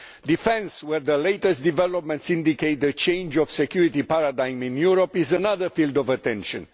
Defence, where the latest developments indicate a change of security paradigm in Europe, is another field of attention.